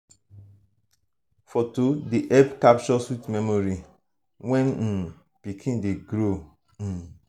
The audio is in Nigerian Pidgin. foto dey help capture sweet memory when um pikin dey grow. um